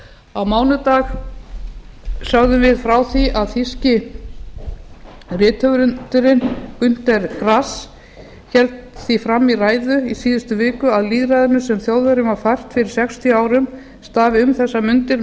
á mánudag sögðum við frá því að þýska rithöfundurinn günter færast héldi því fram í ræðu í síðustu viku að lýðræðinu sem þjóðverjum var fært fyrir sextíu árum stafi um þessar mundir